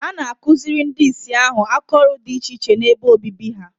A na akụziri ndị Ịsị ahụ aka ọrụ dị iche iche n'ebe obibi ha